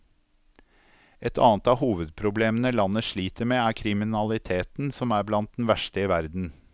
Et annet av hovedproblemene landet sliter med er kriminaliteten, som er blant den verste i verden.